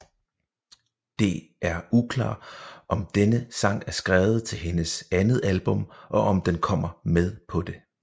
Det er uklar om denne sang er skrevet til hendes andet album og om den kommer med på det